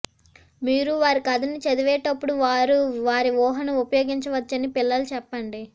మీరు వారి కథను చదివేటప్పుడు వారు వారి ఊహను ఉపయోగించవచ్చని పిల్లలు చెప్పండి